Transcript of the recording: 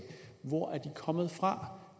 hvor er de kommet fra